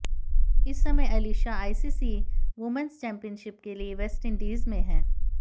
इस समय Alyssa ICC women's championship के लिए वेस्टइंडीज में हैं